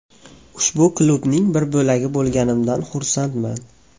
Ushbu klubning bir bo‘lagi bo‘lganimdan xursandman.